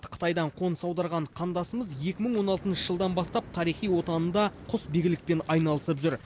қытайдан қоныс аударған қандасымыз екі мың он алтыншы жылдан бастап тарихи отанында құсбегілікпен айналысып жүр